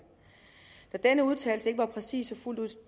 når denne udtalelse ikke var præcis og fuldt ud